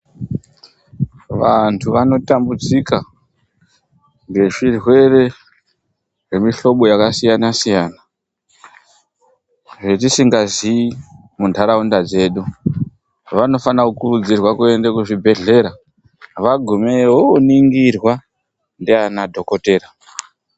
Vandu vanotambudzika ngezvirwere zvemihlobo yakasiyana siyana, zvetisangazivi mundaraunda dzedu. Vanofana kukuridzirwa kuende kuzvibhedhlera, vagumeyo vooningirwa ndiana dhokoteya .